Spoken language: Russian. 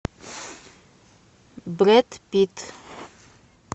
брэд питт